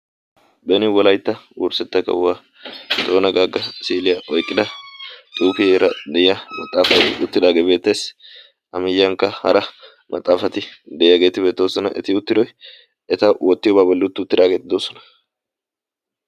beni wolaitta worssetta kahuwaa toona gaagga siiliyaa oiqqida xuufiyara de7iya maxaafati uttidaagee beetteessi amiyyiyankka hara maxaafati de7iyaageeti beettosona eti uttidoi eta oottiyobaa bolliuttuuttiraageeti doosona